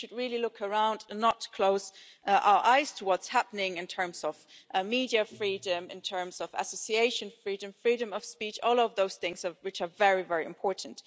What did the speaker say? So we should really look around and not close our eyes to what's happening in terms of media freedom, freedom of association and freedom of speech all of those things which are very, very important.